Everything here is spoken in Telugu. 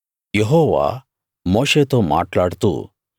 యెహోవా మోషేతో మాట్లాడుతూ